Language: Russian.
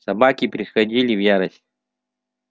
собаки приходили в ярость